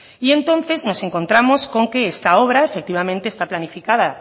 y entonces nos encontramos con que esta obra efectivamente está planificada